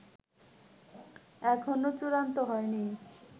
এখনও চূড়ান্ত হয়নি